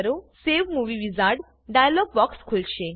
save movie wizard dialog box ખુલશે